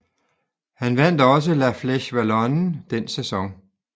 Han vandt også La Flèche Wallonne den sæson